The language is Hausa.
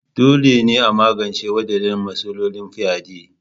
Dole ne a magance wadannan matsalolin fyade.